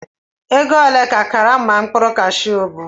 Ego ole ka karama mkpụrụ Kashu bu?